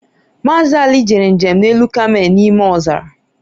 Mazị Ali jere njem n'elu kamel n'ime ọzara